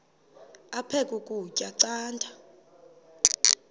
aphek ukutya canda